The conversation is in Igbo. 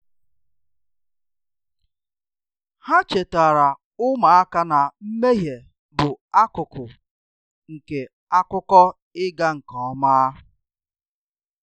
Ha chetaara ụmụaka na mmehie bụ akụkụ nke akụkọ ịga nke ọma